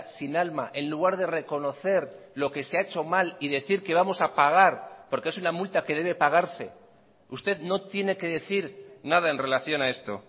sin alma en lugar de reconocer lo que se ha hecho mal y decir que vamos a pagar porque es una multa que debe pagarse usted no tiene que decir nada en relación a esto